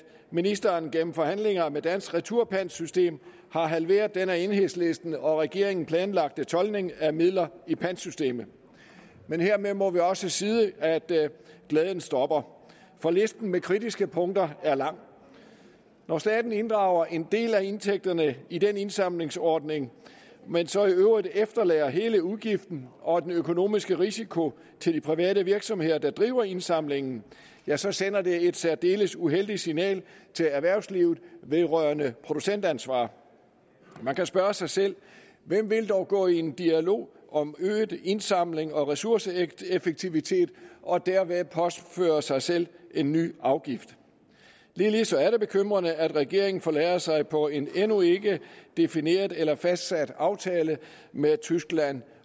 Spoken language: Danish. ministeren gennem forhandlinger med dansk retursystem har halveret den af enhedslisten og regeringen planlagte toldning af midler i pantsystemet men hermed må vi også sige at glæden stopper for listen med kritiske punkter er lang når staten inddrager en del af indtægterne i den indsamlingsordning men så i øvrigt efterlader hele udgiften og den økonomiske risiko til de private virksomheder der driver indsamlingen ja så sender det et særdeles uheldigt signal til erhvervslivet vedrørende producentansvar man kan spørge sig selv hvem vil dog gå i dialog om øget indsamling og ressourceeffektivitet og derved påføre sig selv en ny afgift ligeledes er det bekymrende at regeringen forlader sig på en endnu ikke defineret eller fastsat aftale med tyskland